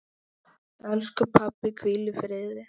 Elsku pabbi, hvíl í friði.